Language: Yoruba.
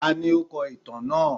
Tání o kọ ìtàn náà?